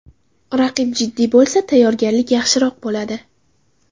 Raqib jiddiy bo‘lsa, tayyorgarlik yaxshiroq bo‘ladi.